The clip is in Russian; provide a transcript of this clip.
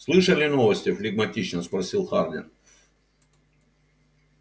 слышали новости флегматично спросил хардин